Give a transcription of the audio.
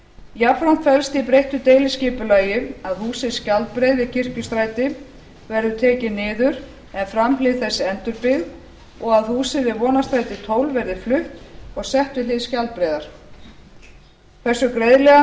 jafnframt felst í breyttu deiliskipulagi að húsið skjaldbreið við kirkjustræti verði tekið niður en framhlið þess endurbyggð og að húsið við vonarstræti tólf verði flutt og sett við hlið skjaldbreiðar hversu greiðlega